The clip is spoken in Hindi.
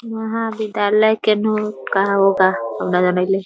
महाविद्यालय के नू कहाँ होगा हम ना जनित ही |